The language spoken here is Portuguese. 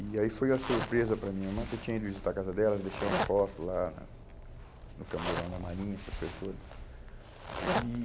E aí foi uma surpresa para a minha irmã, que eu tinha ido visitar a casa dela, deixei uma foto lá na no camburão da Marinha, essas coisas toda. E